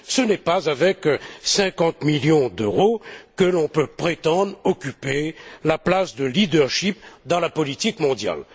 Ce n'est pas avec 50 millions d'euros que l'on peut prétendre occuper la place de leadership dans la politique mondiale.